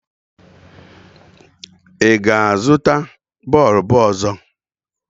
Ị ga-azụta bọọbụ ọzọ?